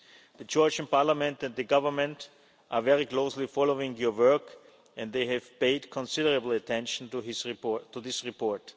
in this. The Georgian Parliament and Government are very closely following your work and they have paid considerable attention to this